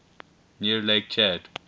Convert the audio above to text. near lake chad